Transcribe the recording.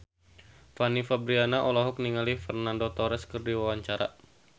Fanny Fabriana olohok ningali Fernando Torres keur diwawancara